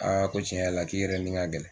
ko tiɲɛ yɛrɛ la k'i yɛrɛ ni ka gɛlɛn